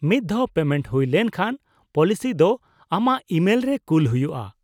-ᱢᱤᱫ ᱫᱷᱟᱣ ᱯᱮᱢᱮᱱᱴ ᱦᱩᱭ ᱞᱮᱱᱠᱷᱟᱱ , ᱯᱚᱞᱤᱥᱤ ᱫᱚ ᱟᱢᱟᱜ ᱤᱢᱮᱞ ᱨᱮ ᱠᱩᱞ ᱦᱩᱭᱩᱜᱼᱟ ᱾